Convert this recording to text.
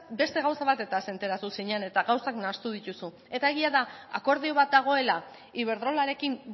beste gauza batez enteratu zinen eta gauzak nahastu dituzu eta egia da akordio bat dagoela iberdrolarekin